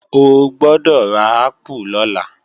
O gbọ́dọ̀ ra ápù lọ́la!